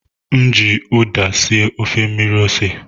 M ji ụda sie ofe mmiri ose.